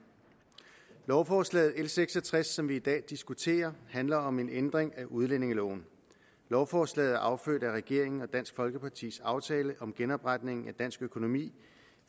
lovforslag nummer l seks og tres som vi i dag diskuterer handler om en ændring af udlændingeloven lovforslaget er affødt af regeringen og dansk folkepartis aftale om genopretningen af dansk økonomi